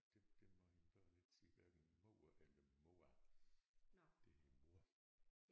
Det det må mine børn ikke sige hverken mor eller mor det hed mor